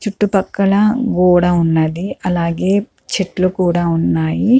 చుట్టు పక్కల ఓడ ఉన్నది. అలాగే చెట్లు కూడా ఉన్నాయి.